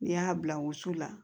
N'i y'a bila wusu la